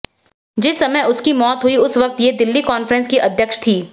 जिस समय उनकी मौत हुई उस वक्त वे दिल्ली कॉन्ग्रेस की अध्यक्ष थीं